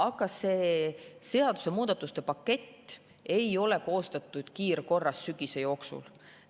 Ja see seadusemuudatuste pakett ei ole koostatud kiirkorras sügise jooksul.